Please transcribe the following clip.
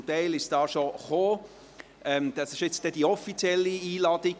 Zum Teil haben Sie die Kuverts jetzt schon erhalten.